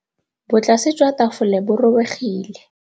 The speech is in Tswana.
Botlasê jwa tafole bo robegile.